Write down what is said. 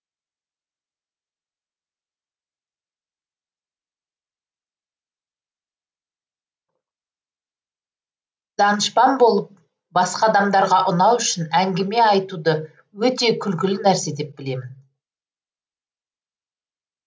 данышпан болып басқа адамдарға ұнау үшін әңгіме айтуды өте күлкілі нәрсе деп білемін